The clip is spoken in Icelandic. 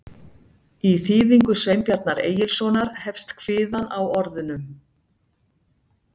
Í þýðingu Sveinbjarnar Egilssonar hefst kviðan á orðunum: